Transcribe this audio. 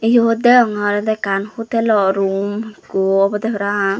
eyot deonge olode ekkan hotelo rum ikko obode parang.